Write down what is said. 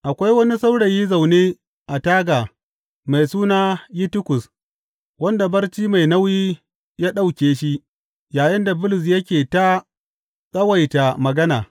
Akwai wani saurayi zaune a taga mai suna Yitikus, wanda barci mai nauyi ya ɗauke shi yayinda Bulus yake ta tsawaita magana.